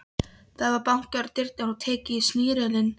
Það var bankað á dyrnar og tekið í snerilinn.